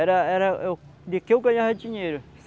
Era era, eu... De que eu ganhava dinheiro?